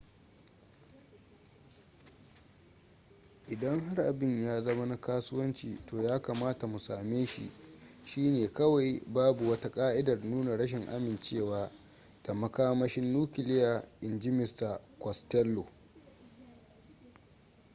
idan har abin ya zama na kasuwanci to ya kamata mu same shi shi ne kawai babu wata ka'idar nuna rashin amincewa da makamashin nukiliya inji mista costello